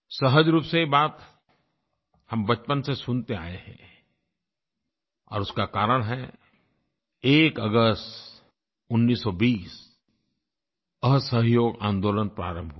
सहज रूप से ये बात हम बचपन से सुनते आए हैं और उसका कारण है 1 अगस्त 1920 असहयोग आन्दोलन प्रारंभ हुआ